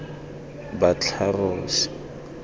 batlharos